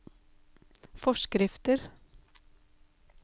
forskrifter